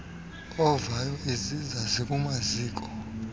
ovayo iziza zikumaziko